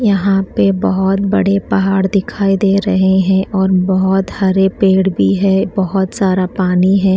यहाँ पे बहुत बड़े पहाड़ दिखाई दे रहे हैं और बहुत हरे पेड़ दिखाई भी हैं और बहुत सारा पानी हैं।